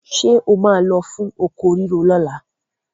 Ṣé o máa lọ fún oko rírò lọ́la?